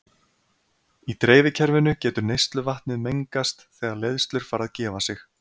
Í dreifikerfinu getur neysluvatnið mengast þegar leiðslur fara að gefa sig.